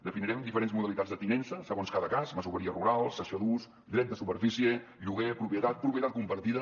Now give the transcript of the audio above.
definirem diferents modalitats de tinença segons cada cas masoveria rural cessió d’ús dret de superfície lloguer propietat propietat compartida